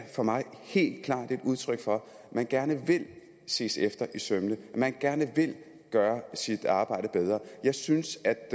for mig helt klart et udtryk for at man gerne vil ses efter i sømmene at man gerne vil gøre sit arbejde bedre jeg synes at